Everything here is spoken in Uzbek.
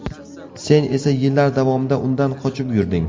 Sen esa yillar davomida undan qochib yurding.